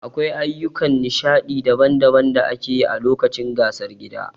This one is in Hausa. Akwai ayyukan nishadi daban-daban da ake yi a lokacin gasar gida.